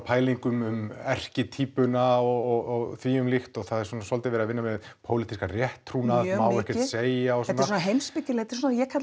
pælingar um erkitýpuna og því um líkt og það er svona soldið verið að vinna með pólitískan rétttrúnað og það má ekkert segja þetta er svona heimspekileg ég